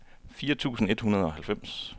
fire tusind et hundrede og halvfems